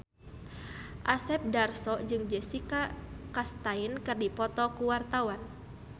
Asep Darso jeung Jessica Chastain keur dipoto ku wartawan